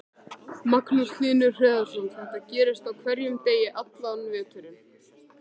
Magnús Hlynur Hreiðarsson: Þetta gerist á hverjum degi allan veturinn?